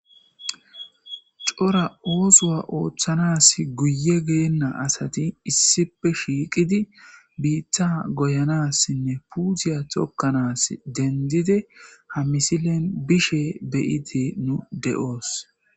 cora oosowa ooththanas guye geenna asati issipe shiiqidi biitta goyanassinne puutiya tokkanas dendide ha misilen bishe beyite nu de7oos